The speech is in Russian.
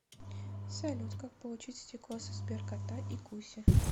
салют как получить стикосы сберкота и куси